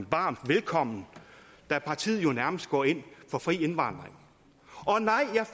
varmt velkommen da partiet jo nærmest går ind for fri indvandring og nej jeg